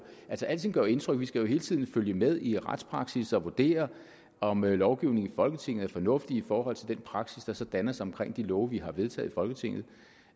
altså alting gør jo indtryk vi skal jo hele tiden følge med i retspraksis og vurdere om lovgivningen i folketinget er fornuftig i forhold til den praksis der så danner sig omkring de love vi har vedtaget i folketinget